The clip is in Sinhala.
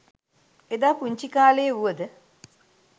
එදා පුංචිකාලේ වුව ද